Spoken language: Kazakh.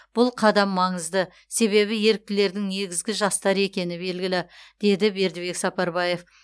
бұл қадам маңызды себебі еріктілердің негізгі жастар екені белгілі деді бердібек сапарбаев